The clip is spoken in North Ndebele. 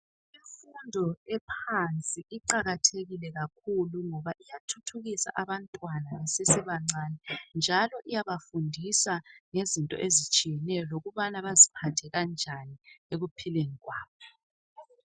Umfundo ephansi iqakathekile kakhulu ngoba iyathuthukisa abantwana besesebancane njalo iyabafundisa ngezinto ezitshiyeneyo lokubana basiphathe kanjani ekuphileni kwabo.